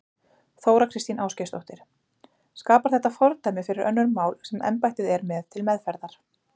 Þóra Kristín Ásgeirsdóttir: Skapar þetta fordæmi fyrir önnur mál sem embættið er með til meðferðar?